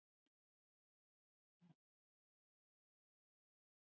Heimir Már: Og eitthvað drag kannski líka?